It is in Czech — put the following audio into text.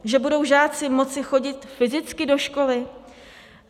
Že budou žáci moci chodit fyzicky do školy?